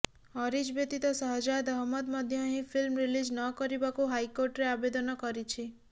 ଅରିଜ୍ ବ୍ୟତୀତ ଶହଜାଦ୍ ଅହମଦ୍ ମଧ୍ୟ ଏହି ଫିଲ୍ମ ରିଲିଜ୍ ନ କରିବାକୁ ହାଇକୋର୍ଟରେ ଆବେଦନ କରିଛି